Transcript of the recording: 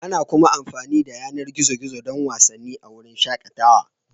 Ana kuma amfani da yanar gizo-gizo don wasanni a wurin shakatawa.